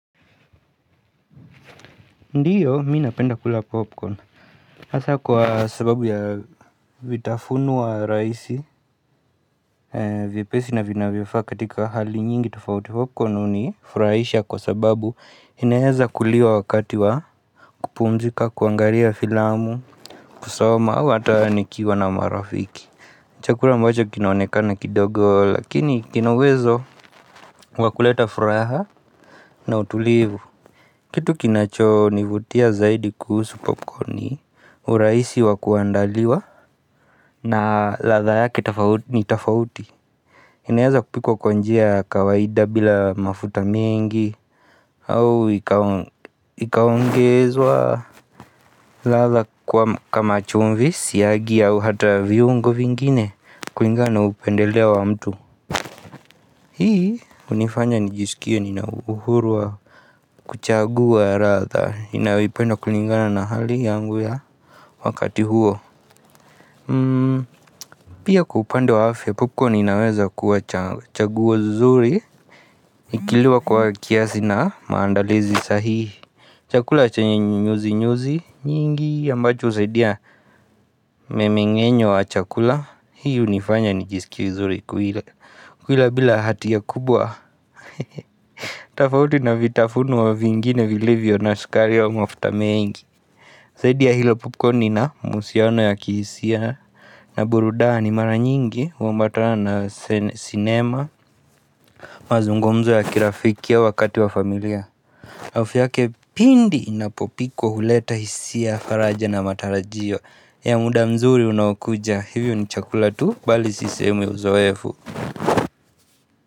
Ndiyo, mii napenda kula popcorn Asa kwa sababu ya vitafunwa raisi. Vyepesi na vina vyafaka katika hali nyingi tafauti popcorn uni furaisha kwa sababu. Inaeza kuliwa wakati wa kupumzika, kuangaria filamu kusoma, wata nikiwa na marafiki. Chakula mbacho kinaonekana kidogo Lakini kinauwezo wakuleta furaha na utulivu. Kitu kinacho nivutia zaidi kuhusu popcorni uraisi wa kuandaliwa na latha yake ni tafauti. Inaeza kupikwa kwanjia ya kawaida bila mafuta mingi au ikawongezwa. Latha kama chumvisi ya gi ya hata viungo vingine Kuingana upendeleo wa mtu. Hii unifanya nijisikia nina uhuru wa kuchagua ratha inayoipenda kulingana na hali yangu ya Wakati huo. Pia kwa upande wa afya popcorn inaweza kuwa chaguo zuri. Ikiliwa kwa kiasi na maandalizi sahihi. Chakula chenye nyuzi nyuzi nyingi Yambacho usadia memengenyo wa chakula hiyo nifanya nijiskie zuri kuile kuila bila hati ya kubwa, tafauti na vitafunwa vingine vilivyo na sukari wa mafutamengi zaidi hilo popcorni na musiano ya kisia. Na burudani maranyingi uambatana na cinema. Mazungumzo ya kirafikia wakati wa familia harufu pindi inapopikwa huleta hisia faraja na matarajio ya muda mzuri unakuja hivyo ni chakula tu bali sisemi uzoefu.